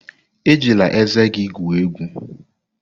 Ejila ezé gị egwu egwu!